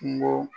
Kungo